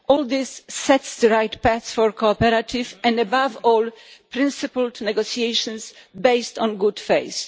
All this sets the right path for cooperative and, above all, principled negotiations based on good faith.